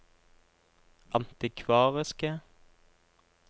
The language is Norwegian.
antikvariske